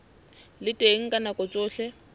le teng ka nako tsohle